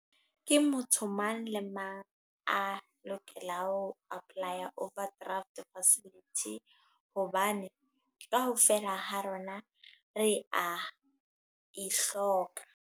Ke motho mang le mang. A lokela ho apply-a overdraft facility. Hobane kaofela ha rona, re a e hloka.